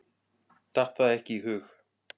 Datt það ekki í hug.